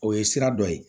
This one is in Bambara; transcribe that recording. O ye sira dɔ ye